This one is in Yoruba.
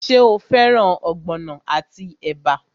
Ṣé o fẹ́ràn ogbono àti ẹ̀bà?